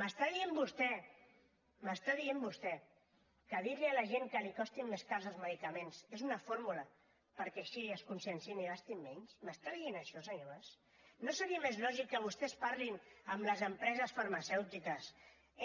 m’està dient vostè m’ho està dient vostè que dir li a la gent que li costin més cars els medicaments és una fórmula perquè així es conscienciïn i gastin menys m’està dient això senyor mas no seria més lògic que vostès parlin amb les empreses farmacèutiques